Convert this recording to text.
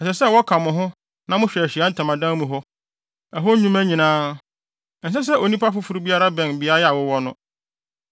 Ɛsɛ sɛ wɔka mo ho na mohwɛ Ahyiae Ntamadan mu hɔ; ɛhɔ nnwuma nyinaa. Ɛnsɛ sɛ onipa foforo biara bɛn beae a wowɔ no.